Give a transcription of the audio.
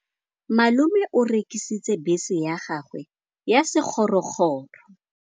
Malome o rekisitse bese ya gagwe ya sekgorokgoro.